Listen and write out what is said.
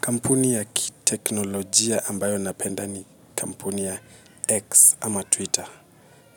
Kampuni ya kiteknolojia ambayo napenda ni kampuni ya X ama Twitter.